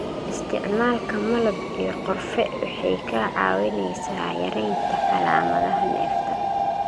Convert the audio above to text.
Isticmaalka malab iyo qorfe waxay kaa caawinaysaa yaraynta calaamadaha neefta.